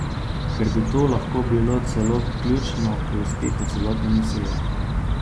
Ker bi to lahko bilo celo ključno pri uspehu celotne misije.